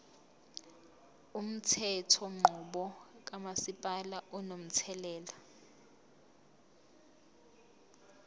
umthethonqubo kamasipala unomthelela